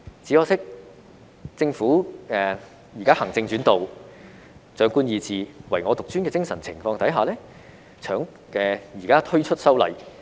只可惜，政府現時在行政主導、長官意志、唯我獨尊的精神下推出修例。